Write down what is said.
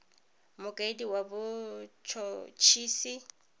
mokaedi wa bot hot hisi